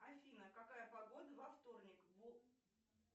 афина какая погода во вторник